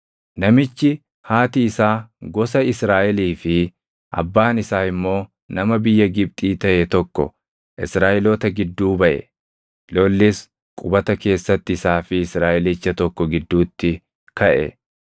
Namichi haati isaa gosa Israaʼelii fi abbaan isaa immoo nama biyya Gibxii taʼe tokko Israaʼeloota gidduu baʼe; lollis qubata keessatti isaa fi Israaʼelicha tokko gidduutti kaʼe.